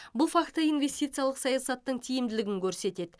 бұл факті инвестициялық саясаттың тиімділігін көрсетеді